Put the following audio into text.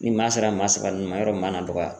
Ni maa sera maa saba nunnu ma yɔrɔ maa na dɔgɔya.